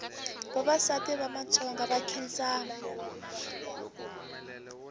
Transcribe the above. vavasati va matsonga va nkhinsama